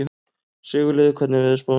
Sigurliði, hvernig er veðurspáin?